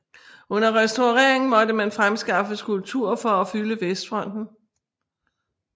Under restaureringen måtte man fremskaffe skulpturer for at fylde vestfronten